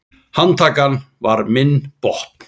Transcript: Handtakan var minn botn.